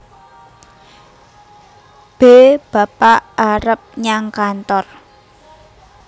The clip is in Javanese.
B bapak arep nyang kantor